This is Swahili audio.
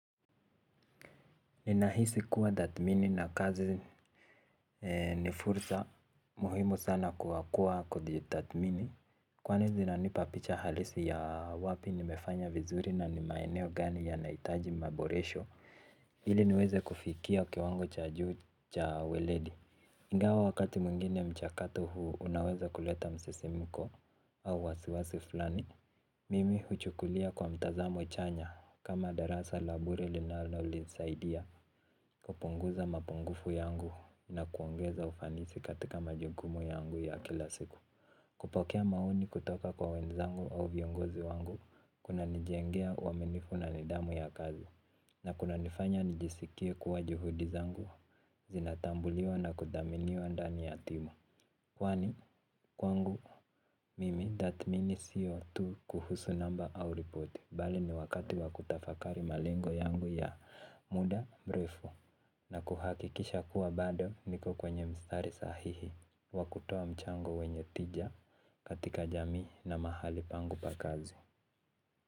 Ninahisi kuwa tathimini na kazi ni fursa muhimu sana kwa kuwa kujitathimini. Kwani zinanipa picha halisi ya wapi nimefanya vizuri na ni maeneo gani yanahitaji maboresho. Ili niweze kufikia kiwango cha juu cha weledi ingawa wakati mwingine mchakato huu unaweza kuleta msisimko au wasiwasi fulani. Mimi huchukulia kwa mtazamo chanya kama darasa la bure linalonisaidia. Kupunguza mapungufu yangu na kuongeza ufanisi katika majukumu yangu ya kila siku. Kupokea maoni kutoka kwa wenzangu au viongozi wangu kunanijengea uaminifu na nidhamu ya kazi na kunanifanya nijisikie kuwa juhudi zangu zinatambuliwa na kuthaminiwa ndani ya timu. Kwani kwangu mimi tathimini siyo tu kuhusu namba au ripoti. Bali ni wakati wakutafakari malengo yangu ya muda mrefu na kuhakikisha kuwa bado niko kwenye mstari sahihi. Wa kutoa mchango wenye tija katika jamii na mahali pangu pa kazi.